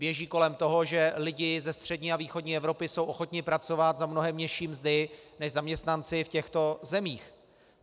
Běží kolem toho, že lidé ze střední a východní Evropy jsou ochotni pracovat za mnohem nižší mzdy než zaměstnanci v těchto zemích.